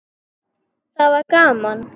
Það var gaman.